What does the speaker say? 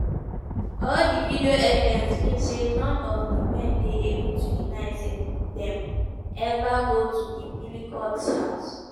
all di video evidence mean say none of di men dey able to deny say dem eva go to di pelicots house.